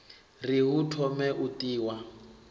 ri hu thome u tiwa